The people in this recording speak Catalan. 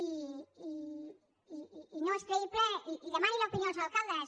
i no són creïbles i demani l’opinió als alcaldes